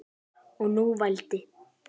Og nú vældi